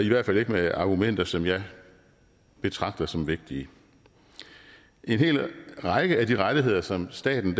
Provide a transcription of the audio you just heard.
i hvert fald ikke med argumenter som jeg betragter som vigtige en hel række af de rettigheder som staten